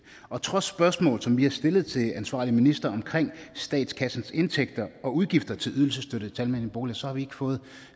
og trods de spørgsmål som vi har stillet til ansvarlige ministre omkring statskassens indtægter og udgifter til ydelsesstøtte til almene boliger så har vi ikke fået